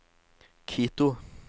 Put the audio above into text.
Quito